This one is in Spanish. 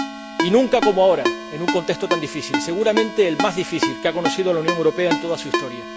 Y nunca como ahora, en un contexto tan difícil, seguramente el más difícil que ha conocido la Unión Europea en toda su historia.